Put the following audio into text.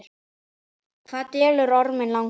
Hvað dvelur orminn langa?